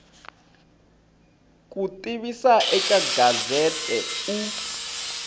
ku tivisa eka gazette u